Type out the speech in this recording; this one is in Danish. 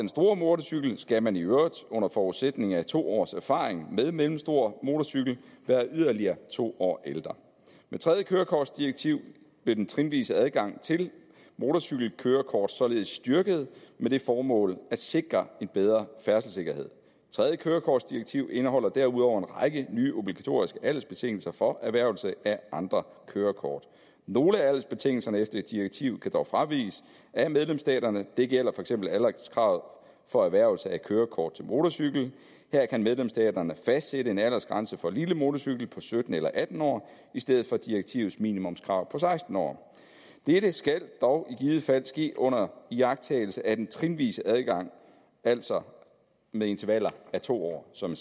stor motorcykels vedkommende skal man i øvrigt under forudsætning af to års erfaring med mellemstor motorcykel være yderligere to år ældre med tredje kørekortdirektiv blev den trinvise adgang til motorcykelkørekort således styrket med det formål at sikre en bedre færdselssikkerhed tredje kørekortdirektiv indeholder derudover en række nye obligatoriske aldersbetingelser for erhvervelse af andre kørekort nogle af aldersbetingelserne efter direktivet kan dog fraviges af medlemsstaterne og det gælder for eksempel alderskravet for erhvervelse af kørekort til motorcykel her kan medlemsstaterne fastsætte en aldersgrænse for lille motorcykel på sytten eller atten år i stedet for direktivets minimumskrav om seksten år dette skal dog i givet fald ske under iagttagelse af den trinvise adgang altså med intervaller af to år som